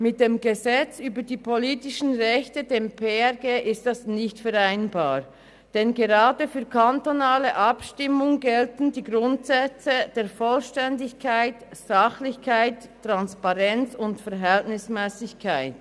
Mit dem Gesetz über die Politischen Rechte (PRG) ist das nicht vereinbar, denn gerade für kantonale Abstimmungen gelten die Grundsätze der Vollständigkeit, Sachlichkeit, Transparenz und Verhältnismässigkeit.